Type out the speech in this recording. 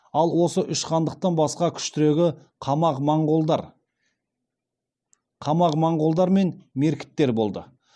ал осы үш хандықтан басқа күштірегі қамақ моңғолдар мен меркіттер болды